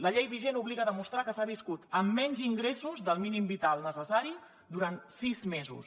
la llei vigent obliga a demostrar que s’ha viscut amb menys ingressos del mínim vital necessari durant sis mesos